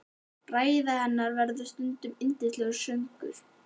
Ræða hennar verður stundum yndislegur söngur.